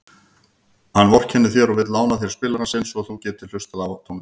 Hann vorkennir þér og vill lána þér spilarann sinn svo þú getir hlustað á tónlist.